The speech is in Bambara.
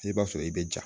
I b'a sɔrɔ i bɛ ja